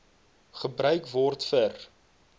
gebruik word vir